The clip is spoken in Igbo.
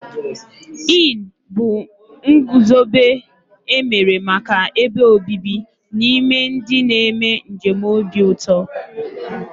Inn bụ ngụzobe emere màkà ebe obibi n'ime ndị na -eme njem obi ụtọ.